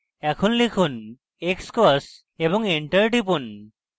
এখন লিখুন xcos এবং enter টিপুন